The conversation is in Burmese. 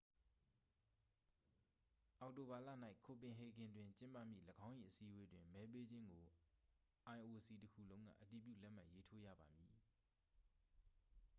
အောက်တိုဘာလ၌ copenhagen တွင်ကျင်းပမည့်၎င်း၏အစည်းအဝေးတွင် မဲပေးခြင်းကို ioc တစ်ခုလုံးက အတည်ပြုလက်မှတ်ရေးထိုးရပါမည်